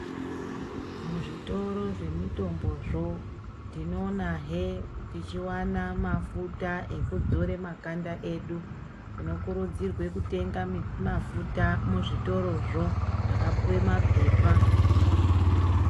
Muzvitoro zve mitombo zvo tinoona he tichiwana mafuta eku dzore makanda edu tino kurudzirwe kutenga mafuta mu zvitoro zvo zvakapuwe mapepa.